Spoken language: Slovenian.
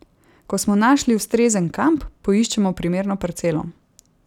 Ko smo našli ustrezen kamp, poiščemo primerno parcelo.